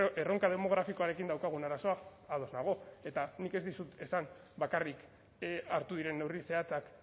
erronka demografikoarekin daukagun arazoa ados nago eta nik ez dizut esan bakarrik hartu diren neurri zehatzak